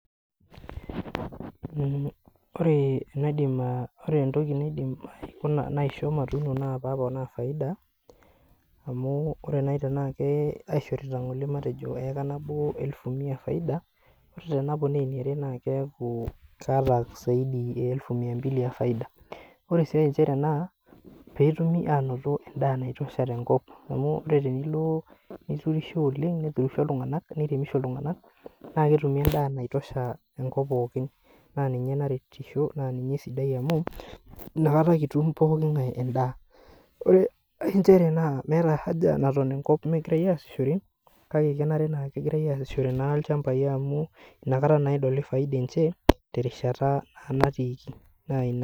Ore entoki naisho matuuno naa pee aponaa faida, amu ore matejo tenaa kaishorita ngole eika nabo matejo mia faida, ore eniare naa keeku kaata elfu maimbili efaida. Ore sii ae naa pee etumi ainoto endaa naitosha tenkop .Amu tenilo neturisho oleng neturisho iltunganak, naa ketumito endaa naitosha enkop pookin naa ninye naretisho amu inakata kitum pookin endaa. Ore enkae naa nchere, kenare naaji nagirae asishore ilchampai amu inakata naa edoli faida enche terishata naa natii.